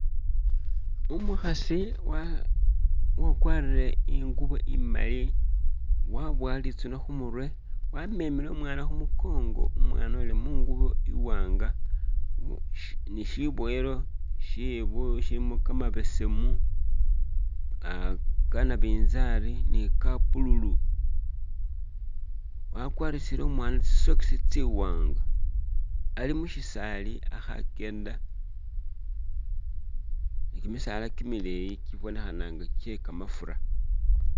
Umukhasi uwa kwarire ingubo imali, wabuwa litsune khumurwe wamemele umwana khumukongo umwana uli mungubo iwanga ni shibuwelo shebu shilimo kamabesemu, ka nabinzali ni ka blue lu wakwarisile umwana tsi socks tsi wanga ali mushisaali akha akyenda ni kyimisaala kyimileyi kyibonekha nga kye kamafura.